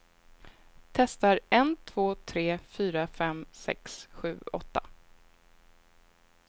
Testar en två tre fyra fem sex sju åtta.